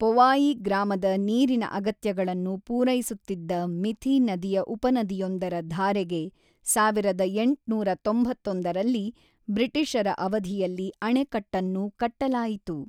ಪೊವಾಯಿ ಗ್ರಾಮದ ನೀರಿನ ಅಗತ್ಯಗಳನ್ನು ಪೂರೈಸುತ್ತಿದ್ದ ಮಿಥಿ ನದಿಯ ಉಪನದಿಯೊಂದರ ಧಾರೆಗೆ ಸಾವಿರದ ಎಂಟುನೂರ ತೊಂಬತ್ತೊಂದರಲ್ಲಿ ಬ್ರಿಟಿಷರ ಅವಧಿಯಲ್ಲಿ ಅಣೆಕಟ್ಟನ್ನು ಕಟ್ಟಲಾಯಿತು.